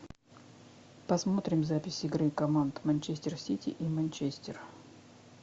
посмотрим запись игры команд манчестер сити и манчестер